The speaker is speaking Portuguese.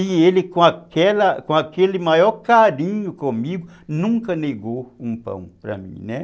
E ele, com aquela com aquele maior carinho comigo, nunca negou um pão para mim, né.